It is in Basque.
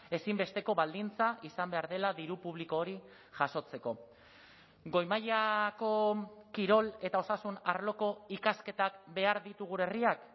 ezinbesteko baldintza izan behar dela diru publiko hori jasotzeko goi mailako kirol eta osasun arloko ikasketak behar ditu gure herriak